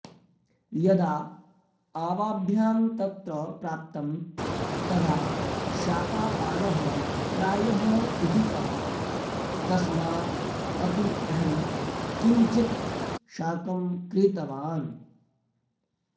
यदा आवाभ्यां तत्र प्राप्तं तदा शाकापणः प्रायः पिहितः तस्मात् अपि अहं किञ्चित् शाकं क्रीतवान्